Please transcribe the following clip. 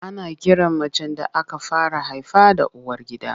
Ana kiran macen da aka fara haifa da uwargida.